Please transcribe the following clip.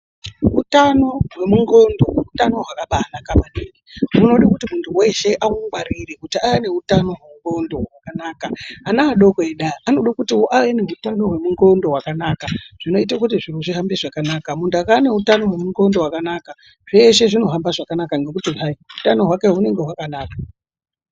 Utano hwemunxondo utano hwakabanaka maningi. Hunoda kuti muntu weshe aungwarire ave neutano hwenxondo hwakanaka. Ana adoko edu aya anoda kut ave neutano hwemunxondo hwakanaka zvinoita kuti zviro zvihambe zvakanaka. Muntu akava neutano hwemunxondo hwakanaka zveshe zvinohamba zvakanaka ngekuti hai utano hwake hwakanaka.